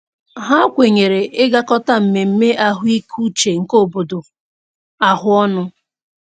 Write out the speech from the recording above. Ha kwenyere ịgakọta mmemme ahụikeuche nke obodo ahụ ọnụ.